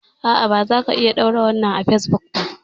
A'a bazaka iya ɗora wannan a fesbuk ba